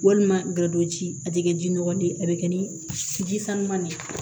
Walima golo ci a tɛ kɛ ji nɔgɔ de ye a bɛ kɛ ni ji sanuman de ye